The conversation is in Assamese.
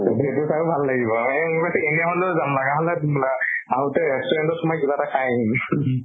সেইটো চাইয়ো ভাল লাগিব এনে হলেও যাম। লাগা হলে দুম্লা আহোতে restaurant ত সোমাই কিবা এটা খাই আহিম